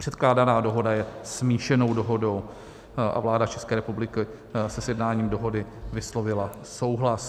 Předkládaná dohoda je smíšenou dohodou a vláda České republiky se sjednáním dohody vyslovila souhlas.